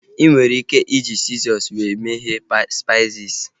ị nwere ike iji sizọs wee meghe spaisis